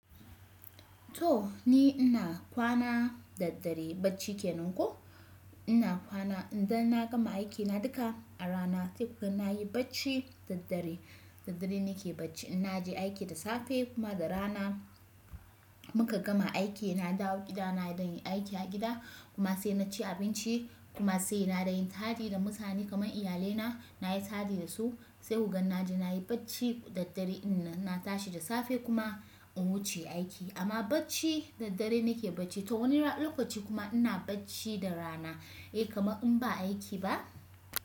To ni ina kwana da dare bacci kenan ko, ina kwana idan na gama aikina duka a rana sai kuma nayi bacci da dare. Da dare nake bacci in naje aiki da safe kuma da rana muka gama aiki, na dawo gida na dan yi aiki a gida, kuma sai naci abinci kuma se na ɗan yi taɗi da mutane kamar iyalai na, na yi taɗi da su, se ku ga na je na yi bacci da dare ɗin nan. In na tashi da safe kuma in wuce aiki amma bacci? Da dare na ke bacci to wani ran- lokaci kuma ina bacci da rana, eh, kamar in ba aiki ba?